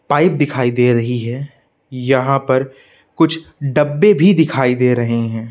Pipe दिखाई दे रही है यहां पर कुछ डब्बे भी दिखाई दे रहे हैं।